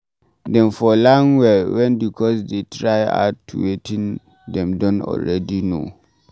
Dem fot learn well when di course dey try add to wetin dem don already know